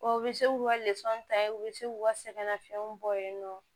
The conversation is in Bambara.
O bɛ se k'u ka ta yen u bɛ se k'u ka sɛgɛ nafiyɛn bɔ yen nɔ